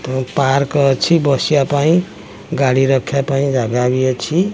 ତ ପାର୍କ ଅଛି ବସିଆ ପାଇଁ ଗାଡ଼ି ରଖିବା ପାଇଁ ଜାଗା ବି ଅଛି।